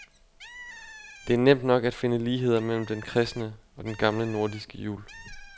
Det er nemt nok at finde ligheder mellem den kristne og den gamle nordiske jul.